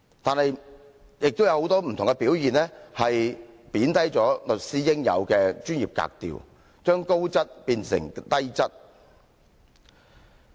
但是，他很多不同的表現，貶低了律師應有的專業格調，將高質變成低質。